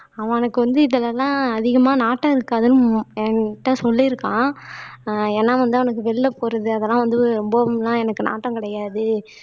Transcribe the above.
அவனுக்கு வந்து இதுல எல்லாம் அதிகமா நாட்டம் இருக்காதுன்னு என்கிட்ட சொல்லி இருக்கான் ஆஹ் ஏன்னா வந்து அவனுக்கு வெளியில போறது அதெல்லாம் வந்து ரொம்வவும்லாம் எனக்கு நாட்டம் கிடையாது